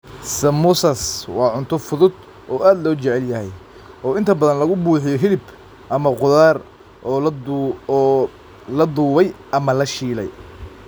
Samosas waa cunto fudud oo aad loo jecel yahay, oo inta badan laga buuxiyo hilib ama khudaar oo la dubay ama la shiilay.